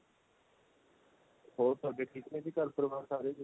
ਹੋਰ ਤੁਹਾਡੇ ਠੀਕ ਏ ਜੀ ਘਰ ਪਰਿਵਾਰ ਸਾਰੇ ਜੀ